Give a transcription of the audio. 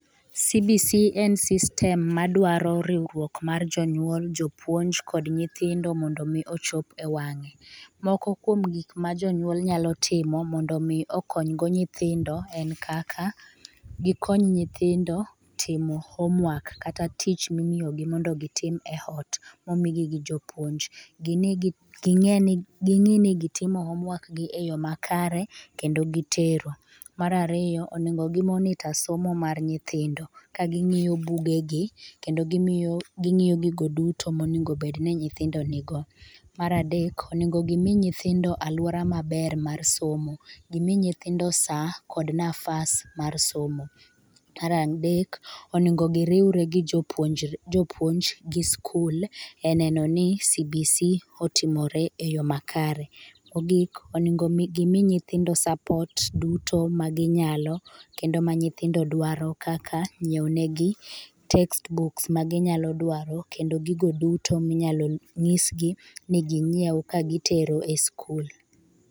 cbc en system madwaro riwrok mar jonyuol jopuonj kod nyinthindo mondo mi ochop ewang'e. Moko kuom gik ma jonyuol nyalo timo mondo mi okony go nyithindo en kaka, gi konyo nyithindo timo homework kata tich mimiyogi mondo gi tim oot momigi gi jopuonj gi ngie gi ng'eni gi timo homework gi e yoo makare kendo gi tero. Mar ariyo ,onego gi monitor somo mar nyithindo ka gi ngi'yo bugegi kendo gi ngiyo gigo duto monengo bedni nyithindo nigo. Mar adek onego gi mi nyithindo aluora maber mar somo gi mi nyithindo saa kod nafas mar somo. Mar adek onengo gi riwre gi jopuonj gi skul e nenoni cbc otimore eyoo makare. Mogik onengo gi mii nyithindo support duto ma gi nyalo kendo ma nyithindo dwaro kaka nyiewonewgi text book magi nyalo dwaro kendo gigo duto minyalo nyisgi ni gi nyiew ka gi tero e skul.